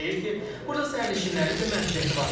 Ekspertlər deyir ki, burda sərnişinlərin də məsuliyyəti var.